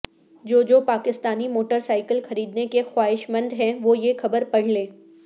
جو جو Pakistani motorcycle خریدنے کے خواہشمند ہیں وہ یہ خبر پڑھ لیں